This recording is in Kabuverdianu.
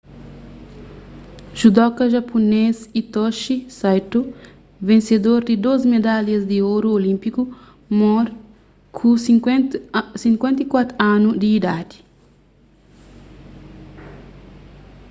judoka japunês hitoshi saito vensedor di dôs medalhas di oru olínpiku móre ku 54 anu di idadi